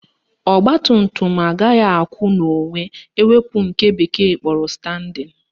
Ọgbatumtum agaghị akwụ n'onwe ewepu nke bekee kpọrọ standing